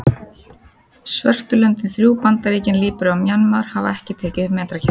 Svörtu löndin þrjú, Bandaríkin, Líbería og Mjanmar hafa ekki tekið upp metrakerfið.